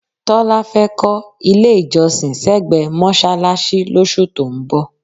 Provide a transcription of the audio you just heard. Tọ́lá fẹ́ kọ́ ilé-ìjọsìn sẹ́gbẹ̀ẹ́ mọ́ṣáláṣí lóṣù tó ń bọ̀.